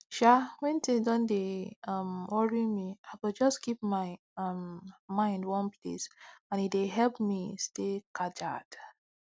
um wen tins don dey um worri me i go jus keep my um mind one place and e de help me stay kajad